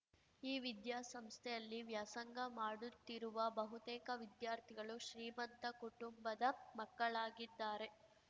ಈ ವಿದ್ಯಾಸಂಸ್ಥೆಯಲ್ಲಿ ವ್ಯಾಸಂಗ ಮಾಡುತ್ತಿರುವ ಬಹುತೇಕ ವಿದ್ಯಾರ್ಥಿಗಳು ಶ್ರೀಮಂತ ಕುಟುಂಬದ ಮಕ್ಕಳಾಗಿದ್ದಾರೆ